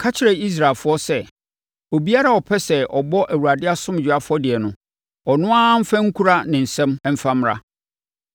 “Ka kyerɛ Israelfoɔ sɛ, obiara a ɔpɛ sɛ ɔbɔ Awurade asomdwoeɛ afɔdeɛ no, ɔno ara mfa nkura ne nsam mfa mmra.